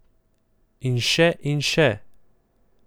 In še in še.